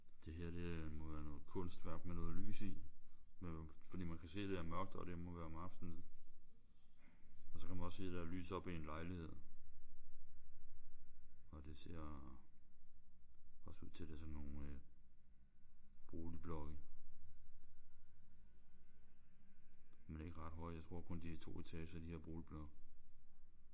Det her det må være noget kunstværk med noget lys i. For man kan se at det er mørkt og det må være om aftenen. Og så kan man også se der er lys oppe i en lejlighed. Og det ser også ud til at det er sådan nogle boligblokke. Men ikke ret høje. Jeg tror kun de er 2 etager de her boligblokke